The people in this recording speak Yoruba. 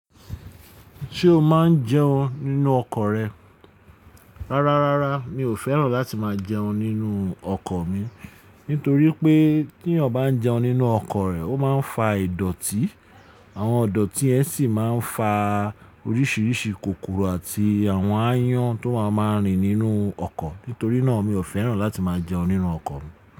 Ṣé o máa ń jẹun nínú ọkọ̀ rẹ? Rárá, rárá mi ò fẹ́ràn láti máa jẹun nínú ọkọ̀ mi. Nítorí pé tí èeyàn bá ń jẹun nínú ọkọ̀ rẹ̀, ó máa ń fa ìdọ̀tí. Àwọn idọ̀tí yẹn sì máa ń fa oríṣìíríṣìí kòkòrò àti àwọn aáyán tó máa màá rìn nínú ọkọ̀. Nítorí náà mi ò fẹ́ràn láti máa jẹun nínú ọkọ̀ mi.